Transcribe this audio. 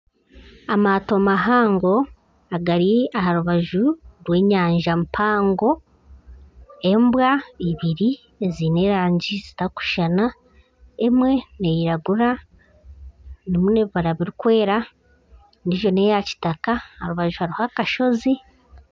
Amaato mahango agari aha rubaju rw'enyanja mpango. Embwa ibiri eziine erangi zitarikushushana emwe neiragura erimu n'ebibara birikwera. Endiijo n'eya kitaka aha rubaju hariho akashozi.